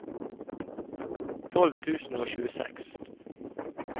tolv tusen og tjueseks